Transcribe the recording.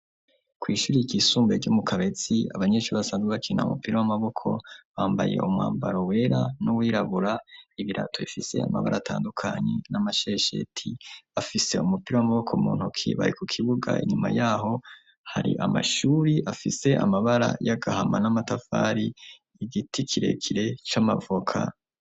Kw'ishuri ryisumbuye ryo mu kabetsi abanyeshuri basanzwe bakina umupira w'amaboko bambaye umwambaro wera n'uwirabura ibirato bifise amabara atandukanye n'amashesheti afise umupira w'amaboko mu ntuki bari ku kibuga inyuma yaho hari amashuri afise amabara y'agahama n'amatafari igiti kirekire c'amavoka.